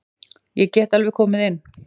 Ég get alveg komið inn.